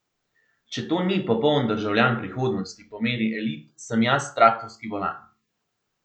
Če to ni popoln državljan prihodnosti po meri elit, sem jaz traktorski volan.